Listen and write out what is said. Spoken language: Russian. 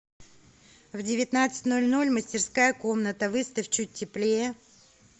в девятнадцать ноль ноль мастерская комната выставь чуть теплее